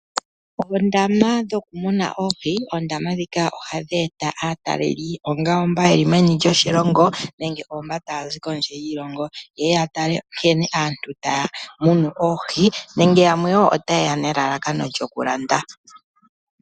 Oondama dhoku muna oohi ohadhi eta aatalelipo, ongele oyo mba yeli meni lyoshilongo nenge oyo mba taya zi kondje yiilongo, yeye ya tale nkene aantu taya munu oohi, nenge yamwe woo ota yeya nelalakano lyoku landa.